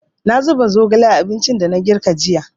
Na zuba zogale a abincin da na girka jiya.